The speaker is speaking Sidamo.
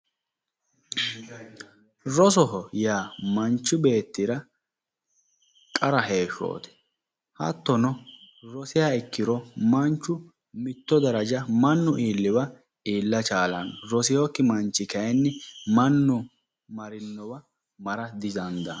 Rosoho yaa manchu beettira qara heeshshooti hattono rosiha ikkiro manchu mitto daraja mannu iilliwa iilla chaalanno. rosewookki manchi kayiinni mannu marinnowa mara didandaanno.